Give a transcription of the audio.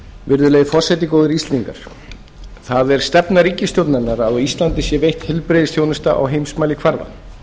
virðulegi forseti góðir íslendingar það er stefna ríkisstjórnarinnar að á íslandi sé veitt heilbrigðisþjónusta á heimsmælikvarða